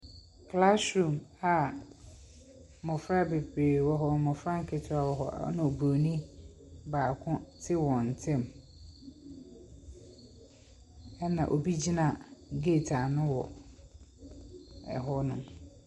Classroom a mmɔfra bebree wɔ hɔ, mmɔfra nketewa wɔ hɔ, ɛnna obronin baako te wɔn ntam, ɛna obi gyina gate ano wɔ hɔnom.